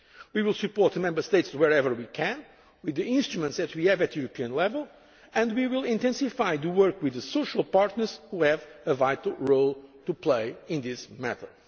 We will support the Member States wherever we can with the instruments that we have at European level and we will intensify the work with the social partners, which have a vital role to play in this